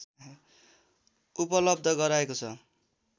उपलब्ध गराएको छ